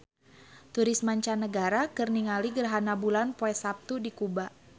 Turis mancanagara keur ningali gerhana bulan poe Saptu di Kuba